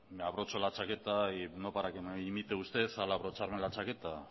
me abrocho la chaqueta y no para que me imite usted al abrocharme la chaqueta